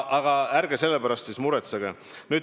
Aga ärge sellepärast muretsege.